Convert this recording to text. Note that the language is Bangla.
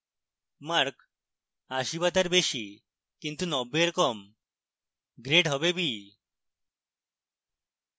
mark 80 b তার বেশী কিন্তু 90 এর কম grade হবে b